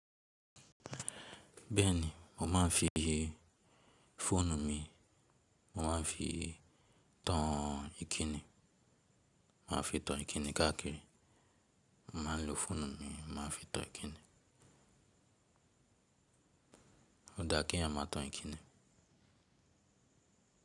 Bẹ́ẹ̀ni, mo máa ń fi fóònù mi, mo máa ń fi tan Ìkíni, mo máa ń fi tan Ìkíni káàkiri, mo máa ń lo fóònù mi, mo máa ń fi tan Ìkíni. Ó dáa kí ń máa tan Ìkíni.